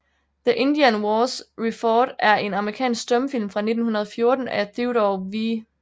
The Indian Wars Refought er en amerikansk stumfilm fra 1914 af Theodore W